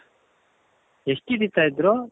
ಎಷ್ಟ್ ಹಿಡೀತಾ ಇದ್ರು?